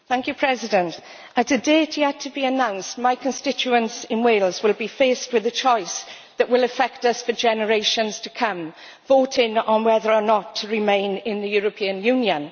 Madam President, at a date yet to be announced my constituents in Wales will be faced with a choice that will affect us for generations to come voting on whether or not to remain in the European Union.